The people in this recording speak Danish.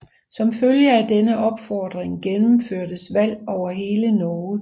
Som følge af denne opfordring gennemførtes valg over hele Norge